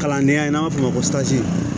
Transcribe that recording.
Kalandenya n'an b'a f'o ma ko